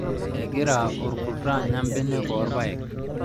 Egira orkuto anya mbenek oorpayek